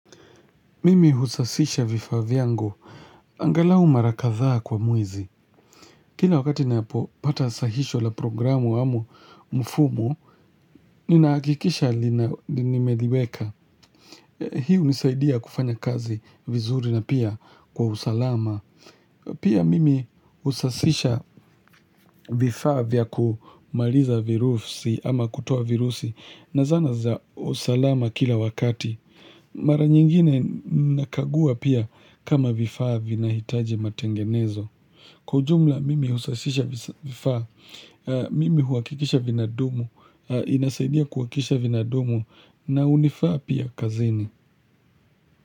Mimi husasisha vifaa vyangu. Angalau marakadhaa kwa mwezi Kila wakati napo pata sahisho la programu amu mfumo ninaakikisha linimeliweka. Hiu nisaidia kufanya kazi vizuri na pia kwa usalama. Pia mimi usasisha vifaa vya kumaliza virusi ama kutuo virusi na zana za usalama kila wakati. Mara nyingine nakagua pia kama vifaa vina hitaji matengenezo. Kujumla mimi usasisha vifaa, mimi huwakikisha vina dumu, inasaidia kuwakisha vina dumu na unifaa pia kazini.